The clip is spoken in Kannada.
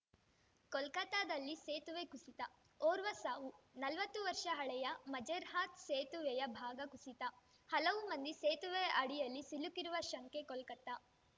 ಕೋಲ್ಕತಾದಲ್ಲಿ ಸೇತುವೆ ಕುಸಿತ ಓರ್ವ ಸಾವು ನಲ್ವತ್ತು ವರ್ಷ ಹಳೆಯ ಮಜೆರ್ಹಾತ್‌ ಸೇತುವೆಯ ಭಾಗ ಕುಸಿತ ಹಲವು ಮಂದಿ ಸೇತುವೆಯ ಅಡಿಯಲ್ಲಿ ಸಿಲುಕಿರುವ ಶಂಕೆ ಕೋಲ್ಕತಾ